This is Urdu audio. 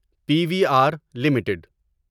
P V R limited